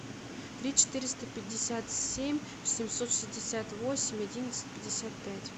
три четыреста пятьдесят семь семьсот шестьдесят восемь одиннадцать пятьдесят пять